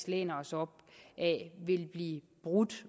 læner os op ad ville blive brudt